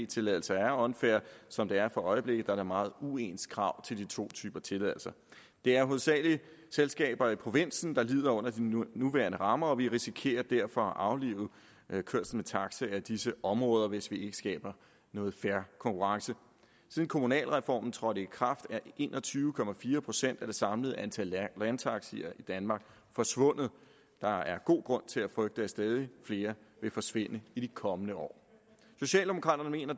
tilladelser er unfair som det er for øjeblikket da der er meget uens krav til de to typer tilladelser det er hovedsagelig selskaber i provinsen der lider under de nuværende rammer og vi risikerer derfor at aflive kørsel med taxa i disse områder hvis vi ikke skaber noget fair konkurrence siden kommunalreformen trådte i kraft er en og tyve procent af det samlede antal landtaxier i danmark forsvundet der er god grund til at frygte at stadig flere vil forsvinde i de kommende år socialdemokraterne mener